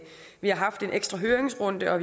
vi har haft en ekstra høringsrunde og